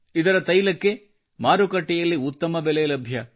ಇದರ ತೈಲಕ್ಕೆ ಮಾರುಕಟ್ಟೆಯಲ್ಲಿ ಉತ್ತಮ ಬೆಲೆ ಲಭ್ಯ